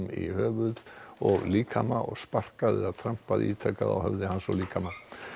í höfuð og líkama og sparkað eða ítrekað á höfði hans og líkama